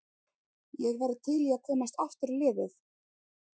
Ég væri til í að komast aftur í liðið.